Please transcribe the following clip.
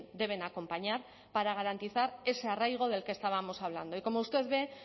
deben acompañar para garantizar ese arraigo del que estábamos hablando y como usted ve